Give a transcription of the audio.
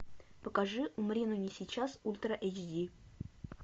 покажи умри но не сейчас ультра эйч ди